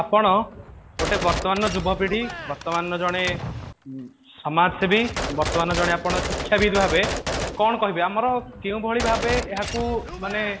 ଆପଣ ଗୋଟେ ବର୍ତମାନ ଯୁବପିଢି ବର୍ତମାନ ଜଣେ ସମାଜସେବୀ ବର୍ତମାନ ଜଣେ ଆପଣ ଶିକ୍ଷାବିତ ଭାବେ କଣ କହବେ ଆମର କେଉଁ ଭଳି ଭାବେ ଏହାକୁ ମାନେ